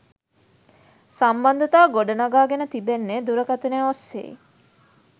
සම්බන්ධතා ගොඩ නඟා ගෙන තිබෙන්නේ දුරකතනය ඔස්සේයි